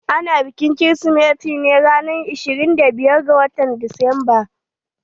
Ana bikin kirsimeti ne ranan ashirin da biyar ga watan disamba.